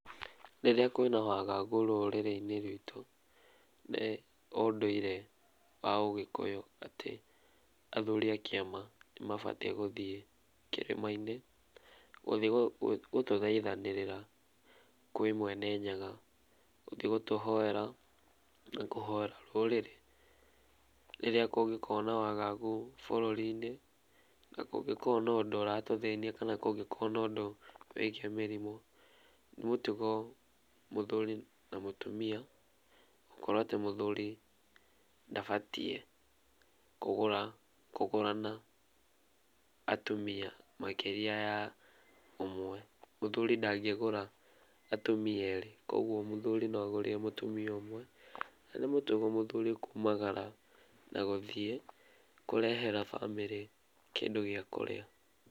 Rĩrĩa kwĩna wagagu rũrĩrĩinĩ rwĩtũ, nĩ ũndũire wa ũgĩkũyũ atĩ athuri a kĩama nĩmabatie gũthiĩ kĩrĩmainĩ, gũthiĩ gũtũthaithanĩrĩra kwĩ Mwene Nyaga gũthie gũtũhoera na kũhoera rũrĩrĩ, rĩrĩa kũngĩkorwo na wagagu bũrũrinĩ na kũngĩkorwo na ũndũ ũratũthĩnia kana ngũngĩkorwo na ũndũ wĩgiĩ mĩrimũ, nĩ mutugo muthuri na mũtumia gũkorwo atĩ mũthuri ndabatie kũgũrana atumia makĩrĩa ya ũmwe mũthuri ndangĩgũra atuma erĩ koguo mũthuri no agũrire mũtũmia ũmwe ,na ni mũtugo mũthũri kumagara na gũthiĩ kũrehera bamĩrĩ kĩndũ gĩa kũrĩa.